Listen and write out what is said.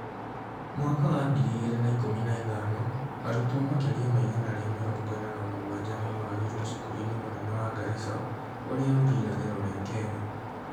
Mwaka wa ngiri igĩrĩ na ikũmi na ithano, arutwo makĩria ma igana rĩa mĩrongo ĩna na mũgwanja nĩmoragirwo cukuru-inĩ mũnene wa Garissa urĩa urĩ irathĩro rĩa Kenya